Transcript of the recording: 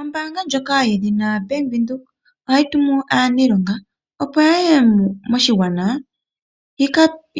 Ombaanga ndjoka yedhina Bank Widhoek ohayi tumu aanilonga opo yaye moshigwana